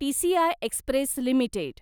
TCI express limited